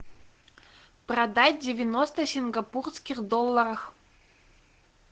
продать девяносто сингапурских долларов